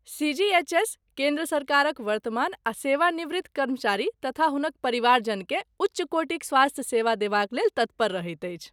CGHS. केन्द्र सरकारक वर्तमान आ सेवानिवृत्त कर्मचारी तथा हुनक परिवारजनकेँ उच्च कोटिक स्वास्थ्य सेवा देबाक लेल तत्पर रहैत अछि।